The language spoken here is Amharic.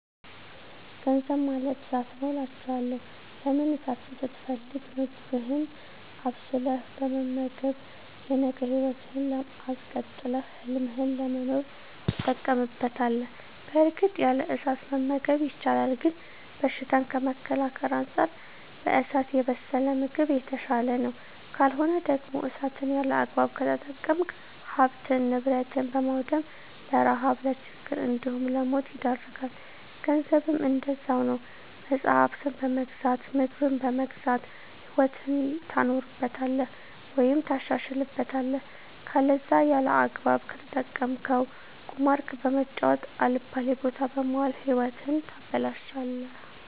ገንዘብ ማለት እሳት ነዉ አላቸዋለሁ። ለምን እሳትን ስትፈልግ ምግብህን አብስለህ በመመገብ የነገ ህይወትህን አስቀጥለህ ህልምህን ለመኖር ትጠቀምበታለህ በእርግጥ ያለ እሳት መመገብ ይቻላል ግን በሽታን ከመከላከል አንፃር በእሳት የበሰለ ምግብ የተሻለ ነዉ። ካልሆነ ደግሞ እሳትን ያለአግባብ ከተጠቀምክ ሀብትን ንብረት በማዉደም ለረሀብ ለችግር እንዲሁም ለሞት ይዳርጋል። ገንዘብም እንደዛዉ ነዉ መፅሀፍትን በመግዛት ምግብን በመግዛት ህይወትህን ታኖርበታለህ ወይም ታሻሽልበታለህ ከለዛ ያለአግባብ ከተጠቀምከዉ ቁማር በመጫወት አልባሌ ቦታ በመዋል ህይወትህን ታበላሸለህ።